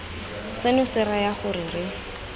seno se raya gore re